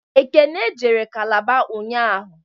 Ekene jere Kalaba ụnyaahụ